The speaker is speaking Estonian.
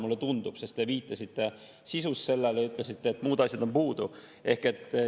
Mulle tundub nii, sest te viitasite selle sisule, ja ütlesite, et muud asjad on puudu.